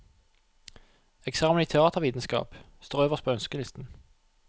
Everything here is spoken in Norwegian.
Eksamen i teatervitenskap står øverst på ønskelisten.